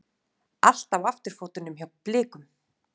Allt á afturfótunum hjá Blikum